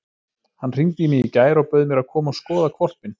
Hann hringdi í mig í gær og bauð mér að koma og skoða hvolpinn.